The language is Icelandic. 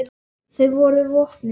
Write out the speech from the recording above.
Þau voru vopnuð.